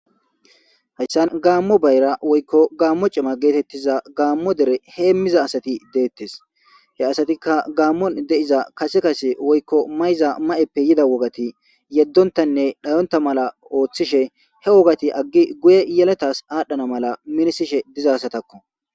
Hayssan gaammo bayra woykko gaammo cima geetettiza gaammo dere heemmiza asati deettes he asatikka gaammon deiza kase kase woykko mayza ma'eppe yida wogati yeddontanne dhayonta mala ooththishe he wogati aggi guye yeletas aadhdhana mala minisishe dizasatakko.